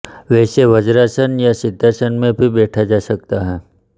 वैसे वज्रासन या सिद्धासन में भी बैठा जा सकता है